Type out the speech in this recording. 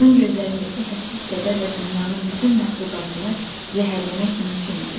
Onun gözlərindəki hədsiz kədərlə dünyanın bütün məxluqatını zəhərləmək mümkün idi.